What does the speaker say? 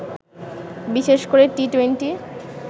বিশেষ করে টি-টোয়েন্টি